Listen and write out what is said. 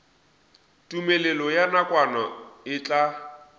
tumelelo ya nakwana e tla